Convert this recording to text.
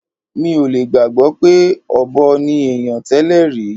Mi ò lè gbàgbọ́ pé ọ̀bọ ni ènìyàn tẹ́lẹ̀ rí.